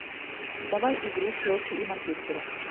давай игру челси и манчестера